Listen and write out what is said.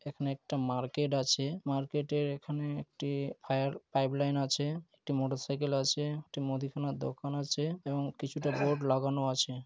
এখানে একটা মার্কেট আছে মার্কেটের এখানে একটি ফায়ার পাইপ লাইন আছে। একটি মোটর সাইকেল আছে । একটি মুদিখানার দোকান আছে এবং কিছুটা বোর্ড লাগানো আছে।